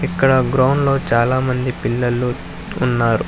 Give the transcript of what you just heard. అక్కడ గ్రౌండ్ లో చాలామంది పిల్లళ్ళు ఉన్నారు.